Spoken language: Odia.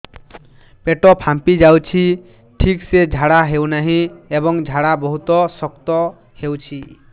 ପେଟ ଫାମ୍ପି ଯାଉଛି ଠିକ ସେ ଝାଡା ହେଉନାହିଁ ଏବଂ ଝାଡା ବହୁତ ଶକ୍ତ ହେଉଛି